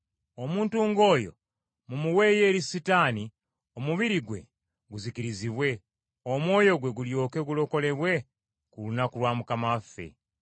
Omuntu ng’oyo mumuweeyo eri Setaani omubiri gwe guzikirizibwe, omwoyo gwe gulyoke gulokolebwe ku lunaku lwa Mukama waffe.